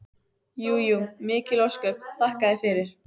Jú jú, mikil ósköp, þakka þér fyrir.